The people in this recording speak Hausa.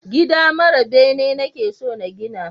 Gida mara bene nake so na gina